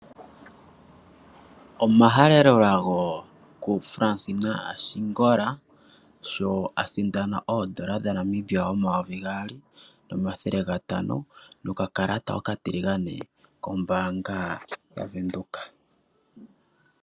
Omahalelolago kuFransina Ashingola sho asindana N$2500 nokakalata okatiligane kombaanga yaVenduka.